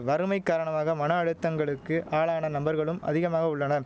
வறுமை காரணமாக மன அழுத்தங்களுக்கு ஆளான நம்பர்களும் அதிகமாக உள்ளனர்